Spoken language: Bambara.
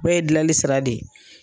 bɛɛ ye gilali sira de ye.